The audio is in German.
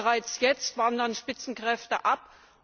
Bereits jetzt wandern Spitzenkräfte ab.